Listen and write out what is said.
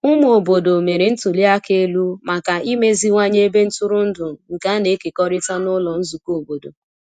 Ụmụ obodo mere ntuli aka elu maka imeziwanye ebe ntụrụndụ nke a na-ekekọrịta n’ụlọ nzukọ obodo.